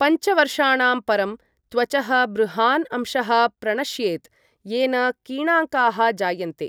पञ्च वर्षाणां परं, त्वचः बृहान् अंशः प्रणश्येत्, येन किणाङ्काः जायन्ते।